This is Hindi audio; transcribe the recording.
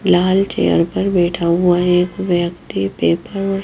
लाल चेयर पर बैठा हुआ एक व्यक्ति पेपर और --